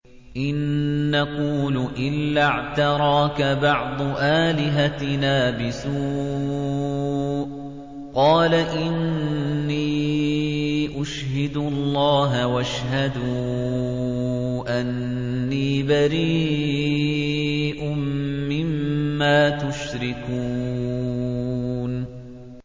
إِن نَّقُولُ إِلَّا اعْتَرَاكَ بَعْضُ آلِهَتِنَا بِسُوءٍ ۗ قَالَ إِنِّي أُشْهِدُ اللَّهَ وَاشْهَدُوا أَنِّي بَرِيءٌ مِّمَّا تُشْرِكُونَ